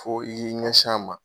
Fo i y'i ɲɛsin a ma